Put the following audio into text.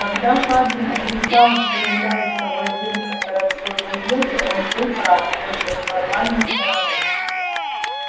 когда хардин отрицал что является владельцем городской газеты он был прав только с формальной стороны